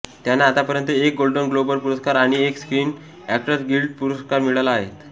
त्यांना आत्तापर्यंत एक गोल्डन ग्लोब पुरस्कार आणि एक स्क्रीन अॅक्टर्स गिल्ड पुरस्कार मिळाला आहेत